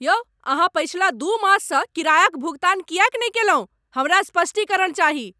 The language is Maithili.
यौ अहाँ पछिला दू माससँ किरायाक भुगतान किएक नहि कयलहुँ? हमरा स्पष्टीकरण चाही।